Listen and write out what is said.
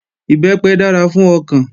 Ìbẹ́pẹ dára fún ọkàn